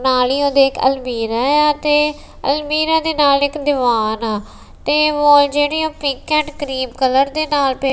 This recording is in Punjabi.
ਨਾਲ ਹੀ ਉਦੇ ਅਲਮੀਰਾਂ ਆ ਤੇ ਅਲਮੀਰਾਂ ਦੇ ਨਾਲ ਇੱਕ ਦੀਵਾਨ ਆ ਤੇ ਵਾਲ ਜਿਹੜੀਆਂ ਪਿਕ ਐਂਡ ਕਰੀਮ ਕਲਰ ਦੇ ਨਾਲ ਤੇ--